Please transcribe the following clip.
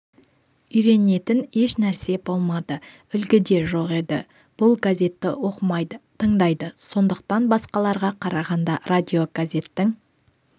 үйренетін еш нәрсе болмады үлгі де жоқ еді бұл газетті оқымайды тыңдайды сондықтан басқаларға қарағанда радиогазеттің